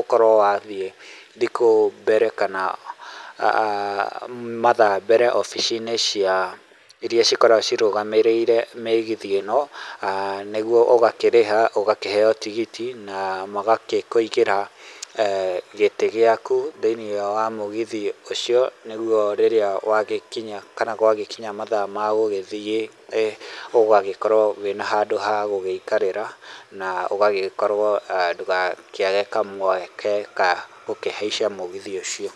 ũkorwo wa thiĩ thikũ mbere kana mathaa mbere wobici-inĩ ciao iria cikoragwo cirũgamĩrĩire mĩgithi ĩno nĩguo ũgakĩrĩha ũgakĩheo tigiti magagĩkũigĩra gĩtĩ gĩaku thĩinĩ wa mũgithi ũcio nĩguo rĩrĩa wagĩkinya kana gwa gĩkinya mathaa ma gũgĩthiĩ ũgagĩkorwo wĩna handũ ha gũgĩikarĩra na ũgagĩkorwo ndũgakĩage kamweke ka gũkĩhaicha mĩgithi ũcio.